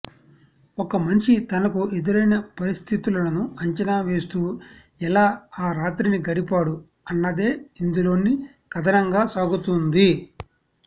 ఒక మనిషి తనకు ఎదురైన పరిస్థితులను అంచనా వేస్తూ ఎలా ఆ రాత్రిని గడిపాడు అన్నదే ఇందులోని కథనంగా సాగుతుంది